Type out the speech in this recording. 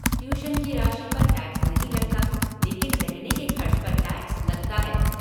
Tuition की राशि पर टैक्स नहीं लगता लेकिन रहने के खर्च पर टैक्स लगता है।